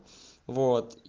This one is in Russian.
вот и